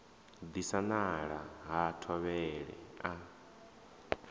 disa nala ha thovhele a